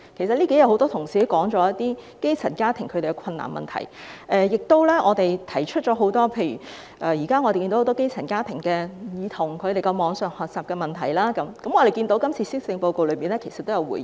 很多同事在這數天辯論中均提到基層家庭遇到的困難，我們亦提出了很多基層家庭遇到的不同問題，例如網上學習，我們看到今次施政報告也有回應。